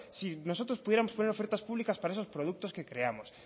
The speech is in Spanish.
si nosotros pudiéramos poner ofertas públicas para esos productos que creamos